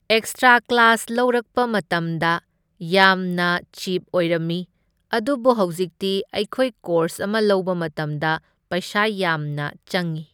Extra class ꯂꯧꯔꯛꯄ ꯃꯇꯝꯗ ꯌꯥꯝꯅ ꯆꯤꯞ ꯑꯣꯏꯔꯝꯃꯤ, ꯑꯗꯨꯕꯨ ꯍꯧꯖꯤꯛꯇꯤ ꯑꯩꯈꯣꯏ ꯀꯣꯔꯁ ꯑꯃ ꯂꯧꯕ ꯃꯇꯝꯗ ꯄꯩꯁꯥ ꯌꯥꯝꯅ ꯆꯪꯢ꯫